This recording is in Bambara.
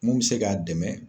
Mun bi se k'a dɛmɛ